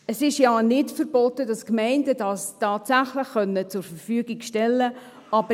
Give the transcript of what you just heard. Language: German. Es ist ja nicht verboten, dass die Gemeinden das tatsächlich zur Verfügung stellen können.